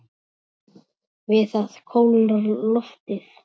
Við það kólnar loftið.